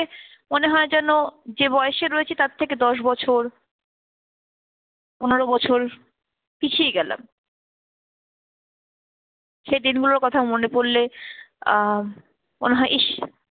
মনে হয় যেন যে বয়সে তার থেকে দশ বছর পনেরো বছর পিছিয়ে গেলাম। সেই দিনগুলোর কথা মনে পড়লে আহ মনে হয় ইস